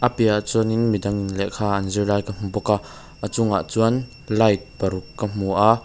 piahah chuanin midangin lehkha an zir lai ka hmu bawk a a chungah chuan light paruk ka hmu a.